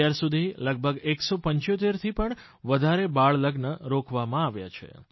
અત્યારસુધી લગભગ 175 થી પણ વધારે બાળલગ્ન રોકવામાં આવ્યા છે